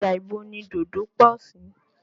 Ọjà ibo ni dòdò pọ̀ sí?